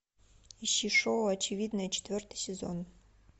ищи шоу очевидное четвертый сезон